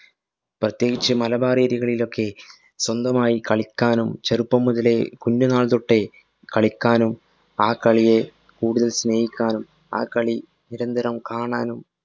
പ്രത്യേകിച്ച് മലബാര്‍ area കളിലൊക്കെ സ്വന്തമായി കളിക്കാനും ചെറുപ്പം മുതലേ കുഞ്ഞു നാള്‍ തൊട്ടേ കളിക്കാനും ആ കളിയെ കൂടുതല്‍ സ്നേഹിക്കാനും ആ കളി നിരന്തരം കാണാനും